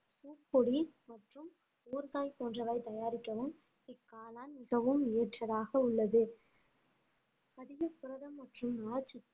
பூப்பொடி மற்றும் ஊறுகாய் போன்றவை தயாரிக்கவும் இக்காளான் மிகவும் ஏற்றதாக உள்ளது அதிக புரத மற்றும் நார் சத்து